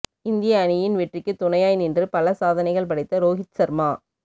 இந்திய அணியின் வெற்றிக்கு துணையாய் நின்று பல சாதனைகள் படைத்த ரோகித் சர்மா